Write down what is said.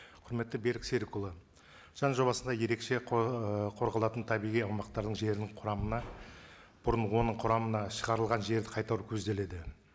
құрметті берік серікұлы заң жобасында ерекше ііі қорғалатын табиғи аумақтардың жерінің құрамына бұрын оның құрамынан шығарылған жерді қайтару көзделеді